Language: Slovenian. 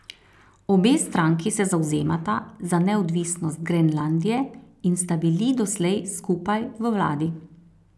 Obe stranki se zavzemata za neodvisnost Grenlandije in sta bili doslej skupaj v vladi.